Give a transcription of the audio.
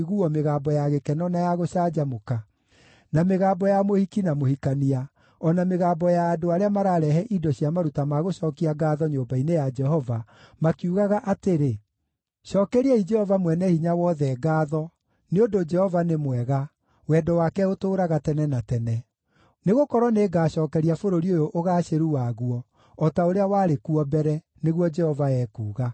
mĩgambo ya gĩkeno na ya gũcanjamũka, na mĩgambo ya mũhiki na mũhikania, o na mĩgambo ya andũ arĩa mararehe indo cia maruta ma gũcookia ngaatho nyũmba-inĩ ya Jehova, makiugaga atĩrĩ, “‘ “Cookeriai Jehova Mwene-Hinya-Wothe ngaatho, nĩ ũndũ Jehova nĩ mwega; wendo wake ũtũũraga tene na tene.” Nĩgũkorwo nĩngacookeria bũrũri ũyũ ũgaacĩru waguo, o ta ũrĩa warĩ kuo mbere,’ nĩguo Jehova ekuuga.